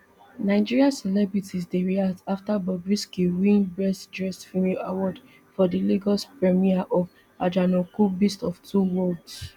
nigeria celebrities dey react afta bobrisky win best dressed female award for di lagos premier of ajanaku beast of two worlds